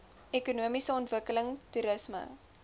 ekonomiese ontwikkeling toerisme